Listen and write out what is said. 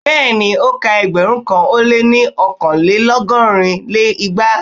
Bẹ́ẹ̀ni, o ka ẹgbẹ̀rún kan ó lé ọkanlelọgọ́rin lé igba.